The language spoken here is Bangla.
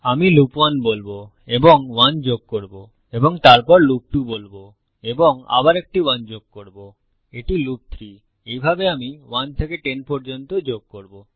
আমি লুপ 1 বলবো এবং 1 যোগ করব এবং তারপর লুপ 2 বলবো এবং আবার একটি 1 যোগ করব এটি লুপ 3 আমি এইভাবে 1 থেকে 10 পর্যন্ত যোগ করবো